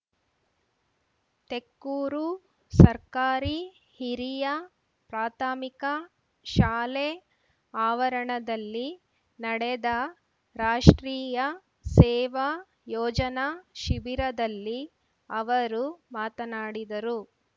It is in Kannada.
ತೆಕ್ಕೂರು ಸರ್ಕಾರಿ ಹಿರಿಯ ಪ್ರಾಥಮಿಕ ಶಾಲೆ ಆವರಣದಲ್ಲಿ ನಡೆದ ರಾಷ್ಟ್ರೀಯ ಸೇವಾ ಯೋಜನಾ ಶಿಬಿರದಲ್ಲಿ ಅವರು ಮಾತನಾಡಿದರು